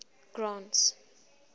grant's